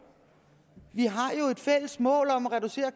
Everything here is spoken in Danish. vi har jo et fælles mål om at reducere